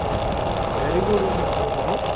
very good evening Saroj babu